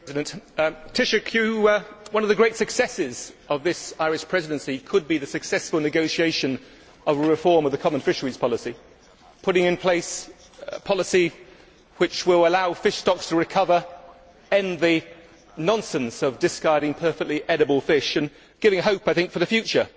Madam President, one of the great successes of this Irish Presidency could be the successful negotiation of a reform of the common fisheries policy putting in place a policy which will allow fish stocks to recover, ending the nonsense of discarding perfectly edible fish, and giving hope for the future.